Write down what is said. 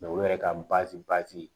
olu yɛrɛ ka